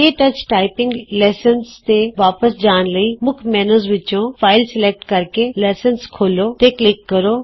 ਕੇ touch typing lessons ਤੇ ਵਾਪਸ ਜਾਣ ਲਈ ਮੁੱਖ ਮੇਨਯੂ ਵਿਚੋਂ ਫਾਈਲ ਸਲੈਕਟ ਕਰਕੇ ਲੈਕਚਰ ਖੋਲ੍ਹੋ ਤੇ ਕਲਿਕ ਕਰੋ